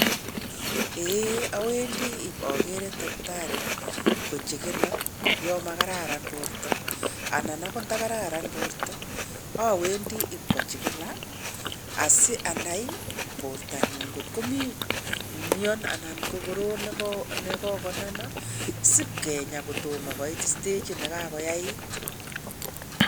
Awendii ibakerei daktari kochekeno ya makararan borta anan akot ntakararan borta awendi ipkochikila asianai bortanyu .Ngotko mii mion anan ko korot ne kokonama sipkenya kotoma koit stagit nekagoyeit.